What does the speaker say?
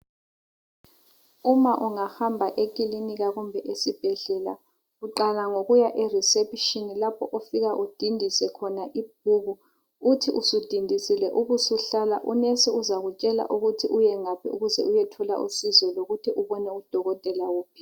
Uma ungahamba ekilinika kumbe esibhedlela uqala ngokuya eReception lapho ofika udindise khona ibhuku uthi usudindisile ubusuhlala, unesi uzakutshela ukuthi uyengaphi ukuze uyethola usizo lokuthi ubone udokotela wuphi.